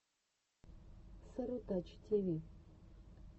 сарутачи тиви